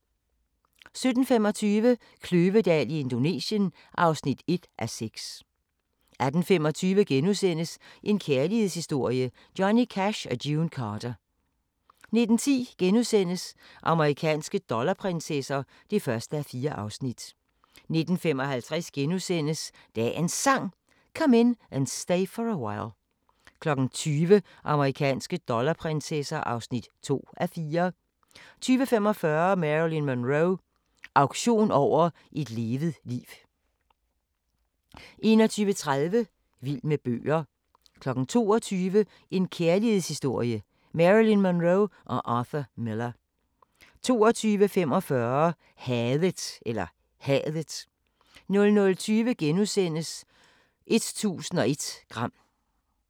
17:25: Kløvedal i Indonesien (1:6) 18:25: En kærlighedshistorie – Johnny Cash & June Carter * 19:10: Amerikanske dollarprinsesser (1:4)* 19:55: Dagens Sang: Come In And Stay For A While * 20:00: Amerikanske dollarprinsesser (2:4) 20:45: Marilyn Monroe – auktion over et levet liv 21:30: Vild med bøger 22:00: En kærlighedshistorie – Marilyn Monroe & Arthur Miller 22:45: Hadet 00:20: 1001 gram *